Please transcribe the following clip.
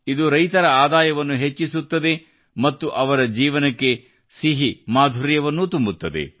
ಇದು ರೈತರ ಆದಾಯವನ್ನು ಹೆಚ್ಚಿಸುತ್ತದೆ ಮತ್ತು ಅವರ ಜೀವನಕ್ಕೆ ಸಿಹಿ ಮಾಧುರ್ಯವನ್ನೂ ತುಂಬುತ್ತದೆ